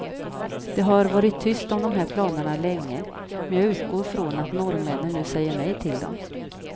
Det har varit tyst om de här planerna länge, men jag utgår från att norrmännen nu säger nej till dem.